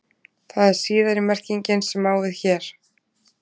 Það er síðari merkingin sem á við hér.